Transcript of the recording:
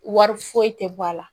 Wari foyi tɛ bɔ a la